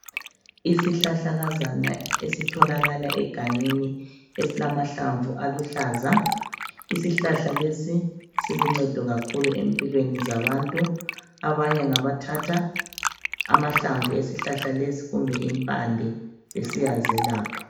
Isihlahlakazana esitholakala egangeni esilamahlamvu aluhlaza. Isihlahla lesi siluncedo kakhulu empilweni zabantu. Abanye ngabathatha amahlamvu esihlahla lesi kumbe impande besiyazelapha.